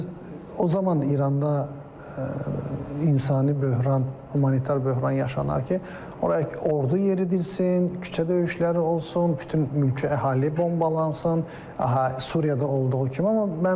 Biz o zaman İranda insani böhran, humanitar böhran yaşanar ki, ora ordu yeridilsin, küçə döyüşləri olsun, bütün mülki əhali bombalansın, Suriyada olduğu kimi.